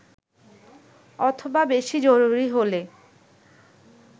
অথবা বেশি জরুরি হলে